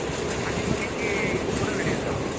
ಆ time ಅಲ್ಲಿ ಹೆಂಗೆ ಇದ್ರು ಕೂಡ ನಡೆಯುತ್ ಅವಾಗ.